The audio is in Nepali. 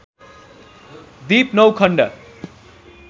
दिप नौ खण्ड